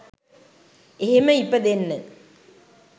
එහෙම ඉපදෙන්න